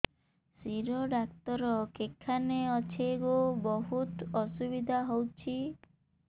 ଶିର doctor କେଖାନେ ଅଛେ ଗୋ ବହୁତ୍ ଅସୁବିଧା ହଉଚି